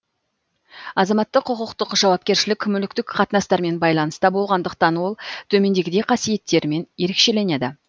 азаматтық құқықтық жауапкершілік мүліктік қатынастармен байланыста болғандықтан ол төмендегідей қасиеттерімен ерекшеленеді